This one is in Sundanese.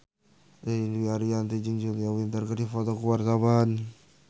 Ririn Dwi Ariyanti jeung Julia Winter keur dipoto ku wartawan